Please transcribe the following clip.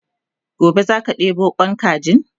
gobe zaka ɗebo Kwan kajin?